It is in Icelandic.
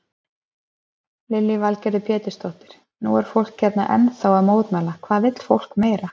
Lillý Valgerður Pétursdóttir: Nú er fólk hérna ennþá að mótmæla, hvað vill fólk meira?